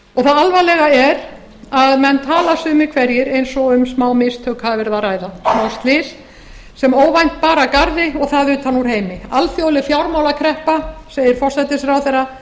það alvarlega er að menn tala sumir eins og um smámistök hafi gerð að ræða smáslys sem óvænt bar að garði og það utan úr heimi alþjóðleg fjármálakreppa segir forsætisráðherra